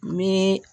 Ni